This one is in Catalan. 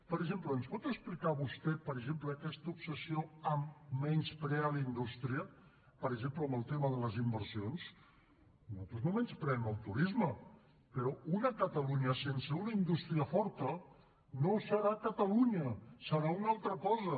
per exemple ens pot explicar vostè per exemple aquesta obsessió de menysprear la indústria per exemple en el tema de les inversions nosaltres no menyspreem el turisme però una catalunya sense una indústria forta no serà catalunya serà una altra cosa